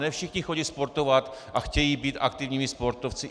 Ne všichni chodí sportovat a chtějí být aktivními sportovci.